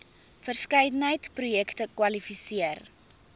verskeidenheid projekte kwalifiseer